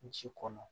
Ji kɔnɔ